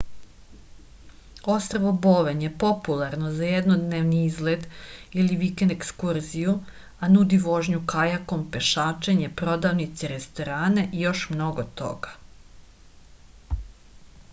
ostrvo boven je popularno za jednodnevni izlet ili vikend ekskurziju a nudi vožnju kajakom pešačenje prodavnice restorane i još mnogo toga